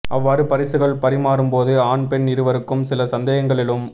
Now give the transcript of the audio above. அவ்வாறு பரிசுகள் பரிமாறும்போது ஆண் பெண் இருவருக்கும் சில சந்தேகங்கள் எழும்